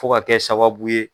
Fo ka kɛ sababu ye.